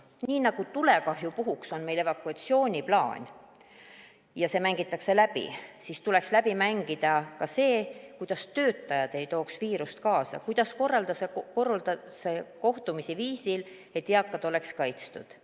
Nii nagu tulekahju puhuks on meil evakuatsiooniplaan ja see mängitakse läbi, tuleks läbi mängida ka see, kuidas töötajad ei tooks viirust kaasa ja kuidas korraldada kohtumisi viisil, et eakad oleksid kaitstud.